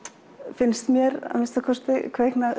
finnst mér að minnsta kosti kvikna